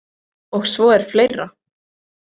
Og svo er fleira.